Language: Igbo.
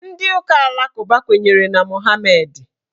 Ndị ụka alakụba kwenyere na Mọhameedị.